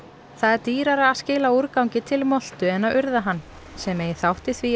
það er dýrara að skila úrgangi til moltu en að urða hann sem eigi þátt í því að